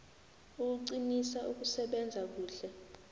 ukuqinisa ukusebenza kuhle